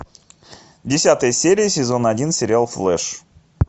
десятая серия сезона один сериал флэш